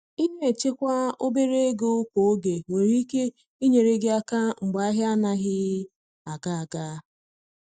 Ina echekwa obere ego kwa oge nwere ike inyere gi aka mgbe ahia anaghị aga aga.